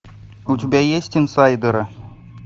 у тебя есть инсайдеры